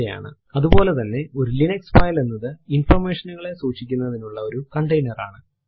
അതുപോലെ തന്നെ ഒരു ലിനക്സ് ഫൈൽ എന്നത് ഇൻഫർമേഷൻ നുകളെ സൂക്ഷിക്കുന്നതിനുള്ള ഒരു കണ്ടെയ്നർ ആണ്